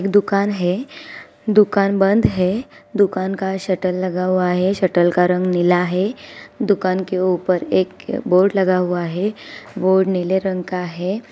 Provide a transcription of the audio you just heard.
दुकान है दुकान बंद है| दुकान का शटर लगा हुआ है| शटर का रंग नीला है| दुकान के ऊपर एक बोर्ड लगा हुआ है वो नीले रंग का है।